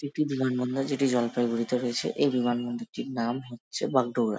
এটি একটি বিমানবন্দর যেটি জলপাইগুড়িতে রয়েছে। এই বিমানবন্দরটির নাম হচ্ছে বাগডোগরা।